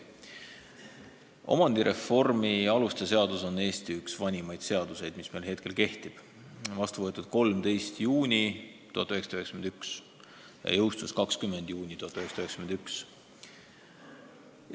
Omandireformi aluste seadus on üks Eesti vanimaid seaduseid, mis meil praegu kehtib: vastu võetud 13. juunil 1991 ja jõustunud 20. juunil 1991.